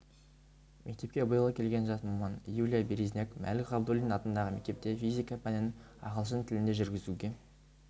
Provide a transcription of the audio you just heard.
мектепке биыл келген жас маман юлия березняк мәлік ғабдуллин атындағы мектепте физика пәнін ағылшын тілінде жүргізуге